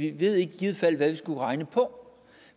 vi ved i givet fald ikke hvad vi skulle regne på